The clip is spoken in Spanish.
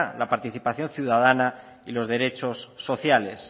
la participación ciudadana y los derechos sociales